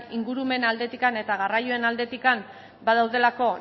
ingurumen aldetik eta garraioen aldetik badaudelako